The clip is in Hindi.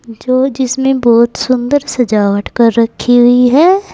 जो जिसमें बहोत सुंदर सजावट कर रखी हुई है।